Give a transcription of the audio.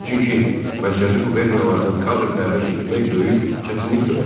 Çünki mərkəzi quberniyalardan kadr dəvət etmək böyük çətinlik törədirdi.